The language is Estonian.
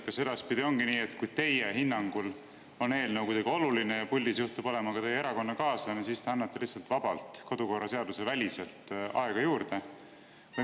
Kas edaspidi ongi nii, et kui teie hinnangul on eelnõu kuidagi oluline ja puldis juhtub olema ka teie erakonnakaaslane, siis te annate vabalt, kodukorraseaduseväliselt aega juurde?